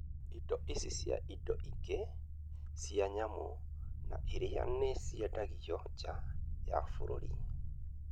Indo ici cia indo ingĩ cia nyamũ na iria nĩ ciendagio nja ya bũrũri.